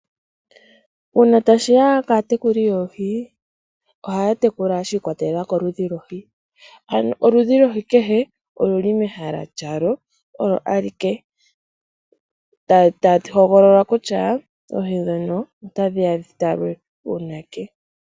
Uuna tashiya kaatekeuli yoohi ohaya tekula tekula shi ikwatelela koludhi lwohi. Oludhi kehe lwohi oluli mehala lyawo olo alike taya hogolola kutya oohi ndhono ota dhiya dhitalwe uunake.